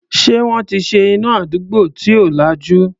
Ṣé wọ́n ti ṣe iná àdúgbò tí ò lajú?